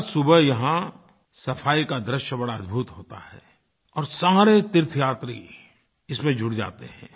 हर सुबह यहाँ सफाई का दृश्य बड़ा ही अद्भुत होता है और सारे तीर्थयात्री इसमें जुट जाते हैं